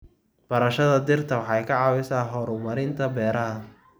Barashada dhirta waxay ka caawisaa horumarinta beeraha.